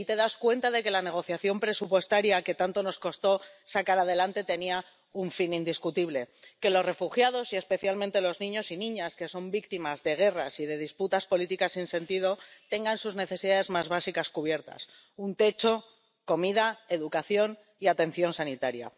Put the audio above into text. Y ahí te das cuenta de que la negociación presupuestaria, que tanto nos costó sacar adelante, tenía un fin indiscutible que los refugiados y, especialmente, los niños y niñas que son víctimas de guerras y de disputas políticas sin sentido tengan sus necesidades más básicas cubiertas un techo, comida, educación y atención sanitaria.